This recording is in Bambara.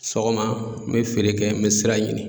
Sɔgɔma n bɛ feere kɛ n bɛ sira ɲini.